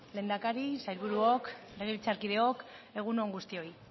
lehendakari sailburuok legebiltzarkideok egun on guztioi